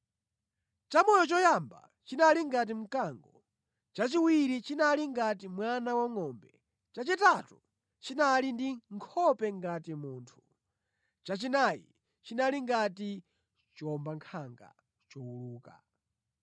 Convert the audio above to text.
Chamoyo choyamba chinali ngati mkango, chachiwiri chinali ngati mwana wangʼombe, chachitatu chinali ndi nkhope ngati munthu, chachinayi chinali ngati chiwombankhanga chowuluka.